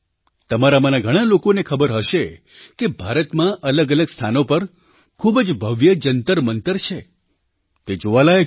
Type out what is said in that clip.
તમારામાંના ઘણા લોકોને ખબર હશે કે ભારતમાં અલગઅલગ સ્થાનો પર ખૂબ જ ભવ્ય જંતરમંતર છે તે જોવાલાયક છે